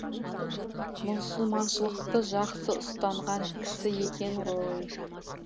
мұсылманшылықты жақсы ұстанған кісі екен ғой